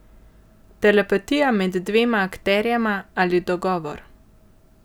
Telepatija med dvema akterjema ali dogovor?